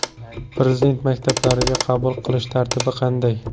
Prezident maktablariga qabul qilish tartibi qanday?.